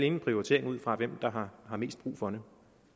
en prioritering ud fra hvem der har mest brug for dem